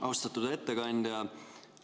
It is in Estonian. Austatud ettekandja!